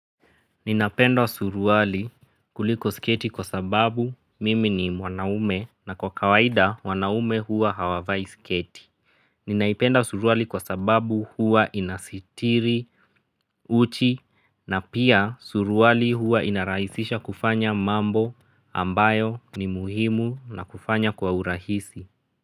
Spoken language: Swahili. Ninapenda suruwali kuliko sketi kwa sababu mimi ni wanaume na kwa kawaida wanaume hua hawavai sketi. Ninaipenda suruwali kwa sababu hua inasitiri uchi na pia suruwali huwa inarahisisha kufanya mambo ambayo ni muhimu na kufanya kwa urahisi.